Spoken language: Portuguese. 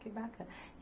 Que baca